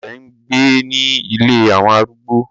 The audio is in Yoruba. Bàbá rẹ̀ ń gbé ni “ ilé àwọn arúgbó".